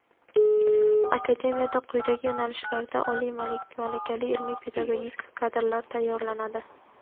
Akademiyada quyidagi yo‘nalishlarda oliy malakali ilmiy-pedagogik kadrlar tayyorlanadi:.